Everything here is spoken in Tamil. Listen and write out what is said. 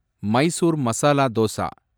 மைசூர் மசாலா தோசா